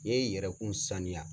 N'e ye yɛrɛkun saniya